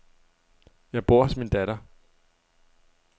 Jeg bor hos min datter.